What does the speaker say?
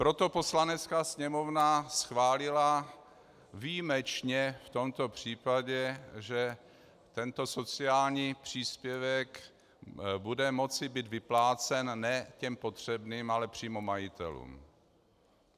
Proto Poslanecká sněmovna schválila výjimečně v tomto případě, že tento sociální příspěvek bude moci být vyplácen ne těm potřebným, ale přímo majitelům.